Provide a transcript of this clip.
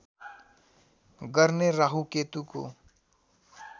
गर्ने राहु केतुको